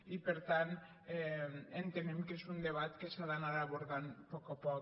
i per tant entenem que és un de·bat que s’ha d’anar abordant a poc a poc